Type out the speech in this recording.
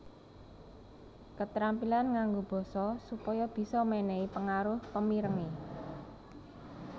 Ketrampilan nganggo basa supaya bisa mènèhi pengaruh pemirengé